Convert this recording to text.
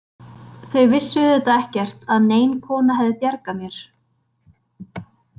Þau vissu auðvitað ekkert að nein kona hefði bjargað mér.